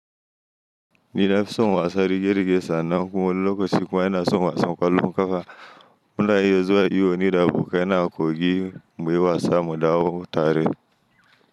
Ni nafi son wasa rige-rige sannan kuma lokacin kuwa yana son wasan kwallon kafa muna iya zuwa iyo ni da abokanai a kogi muyi wasa mu dawo tare.